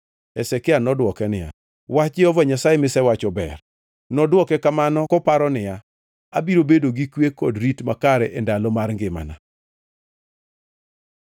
Hezekia nodwoke niya, “Wach Jehova Nyasaye misewacho ber.” Nodwoke kamano koparo niya, “Abiro bedo gi kwe kod rit makare e ndalo mar ngimana.”